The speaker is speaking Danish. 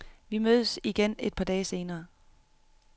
Vi mødtes igen et par dage senere.